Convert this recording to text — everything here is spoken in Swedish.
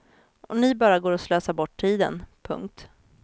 Och ni bara går och slösar bort tiden. punkt